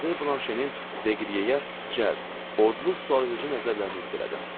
Madamzel Blanşenin Deqriyeyə cəld, odlu, sualedici nəzərlərini hiss elədim.